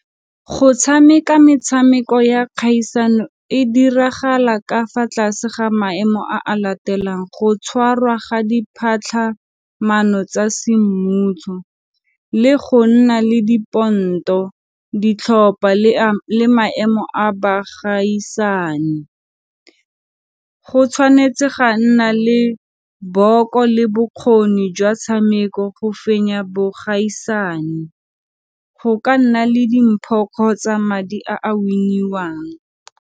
Go tshameka metshameko ya kgaisano e diragala ka fa tlase ga maemo a a latelang go tshwarwa ga tsa semmušo le go nna le diponto ditlhopha le maemo a baagaisani. Go tshwanetse ga nna le le bokgoni jwa tshameko go fenya bogaisane, go ka nna le dimpho kgotsa madi a a win-iwang.